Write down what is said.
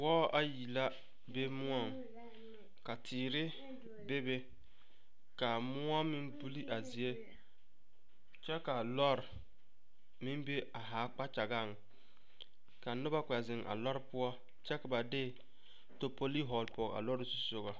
Wɔɔ ayi la be moɔŋ ka teere bebe ka moɔ meŋ buli a zie kyɛ ka lɔɔre meŋ be a haa kpakyagaŋ ka noba kpɛ te zeŋ a lɔɔre poɔ kyɛ ka ba de tapolii vɔgle pɔge a lɔɔre zu soga.